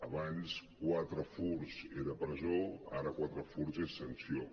abans quatre furts era presó ara quatre furts és sanció